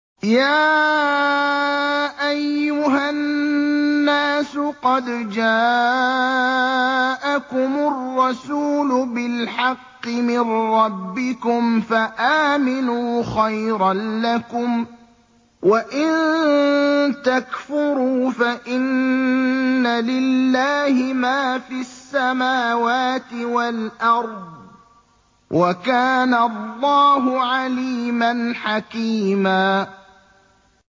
يَا أَيُّهَا النَّاسُ قَدْ جَاءَكُمُ الرَّسُولُ بِالْحَقِّ مِن رَّبِّكُمْ فَآمِنُوا خَيْرًا لَّكُمْ ۚ وَإِن تَكْفُرُوا فَإِنَّ لِلَّهِ مَا فِي السَّمَاوَاتِ وَالْأَرْضِ ۚ وَكَانَ اللَّهُ عَلِيمًا حَكِيمًا